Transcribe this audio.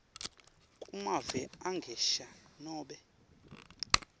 kumave angesheya nobe